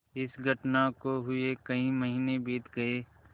इस घटना को हुए कई महीने बीत गये